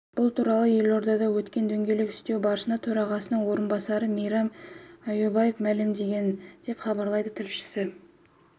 бұл туралы елордада өткен дөңгелек үстел барысында төрағасының орынбасары мейрам аюбаев мәлімдеді деп хабарлайды тілшісі